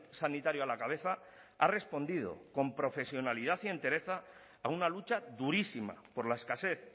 sanitario a la cabeza ha respondido con profesionalidad y entereza a una lucha durísima por la escasez